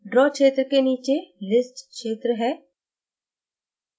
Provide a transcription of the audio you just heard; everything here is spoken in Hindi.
draw क्षेत्र के नीचे list क्षेत्र है